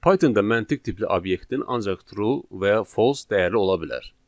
Pythonda məntiq tipli obyektin ancaq true və ya false dəyəri ola bilər.